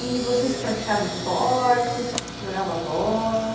E vocês praticavam esporte, jogavam bola?